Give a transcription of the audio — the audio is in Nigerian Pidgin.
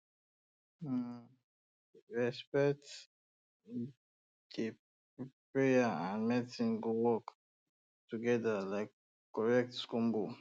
um when um respect dey prayer and medicine go work um together like correct combo